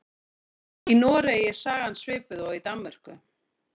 Í Noregi er sagan svipuð og í Danmörku.